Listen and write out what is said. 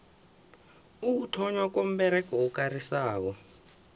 ukuthonnywa komberego okarisako